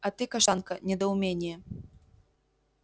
а ты каштанка недоумение